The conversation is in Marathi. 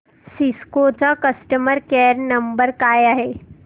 सिस्को चा कस्टमर केअर नंबर काय आहे